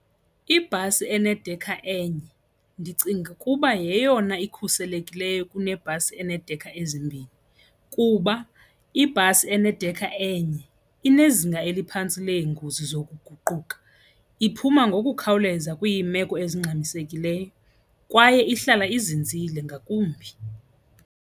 Ibhasi enedekha enye ndicinga ukuba yeyona ikhuselekileyo kunebhasi eneedekha ezimbini kuba ibhasi enedekha enye inezinga eliphantsi leengozi zokuguquka, iphuma ngokukhawuleza kwiimeko ezingxamisekileyo kwaye ihlala ezinzile ngakumbi.